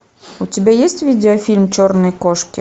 у тебя есть видеофильм черные кошки